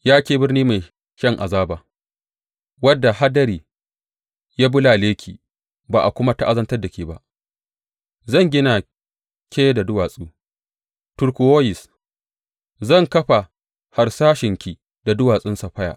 Ya ke birni mai shan azaba, wadda hadari ya bulale ki ba a kuma ta’azantar da ke ba, zan gina ke da duwatsu turkuwoyis, zan kafa harsashenki da duwatsun saffaya.